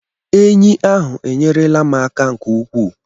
Enyí ahụ enyere la m aka nke ukwuu